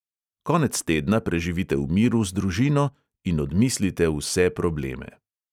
Konec tedna preživite v miru z družino in odmislite vse probleme.